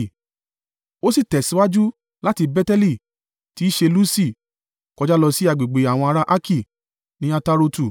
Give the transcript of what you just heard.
Ó sì tẹ̀síwájú láti Beteli (tí í ṣe Lusi) kọjá lọ sí agbègbè àwọn ará Arki ní Atarotu,